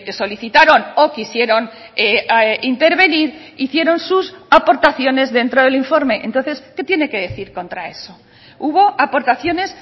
solicitaron o quisieron intervenir hicieron sus aportaciones dentro del informe entonces qué tiene que decir contra eso hubo aportaciones